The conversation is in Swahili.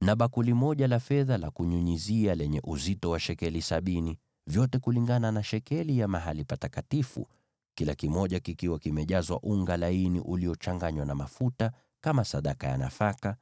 na bakuli moja la fedha la kunyunyizia lenye uzito wa shekeli sabini, vyote kulingana na shekeli ya mahali patakatifu, vikiwa vimejazwa unga laini uliochanganywa na mafuta kama sadaka ya nafaka;